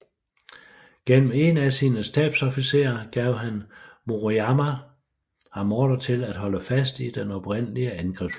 Gennem en af sine stabsofficerer gav Maruyama ham ordre til at holde fast i den oprindelige angrebsplan